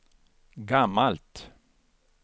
gammalt